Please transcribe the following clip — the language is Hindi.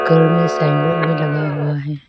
ऊपर में साइन बोर्ड भी लगा हुआ है।